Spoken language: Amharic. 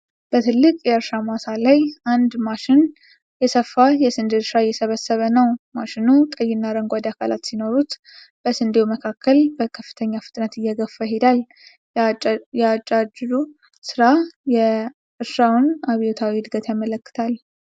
በትልቅ የእርሻ ማሳ ላይ አንድ ማሽን የሰፋ የስንዴ እርሻ አየስብሰበ ነው፡፡ ማሽኑ ቀይና አረንጓዴ አካላት ሲኖሩት በስንዴው መካከል በከፍተኛ ፍጥነት እየገፋ ይሄዳል፡፡ የአጫጭዱ ሥራ የእርሻውን አብዮታዊ ዕድገት ያመለክታል፡፡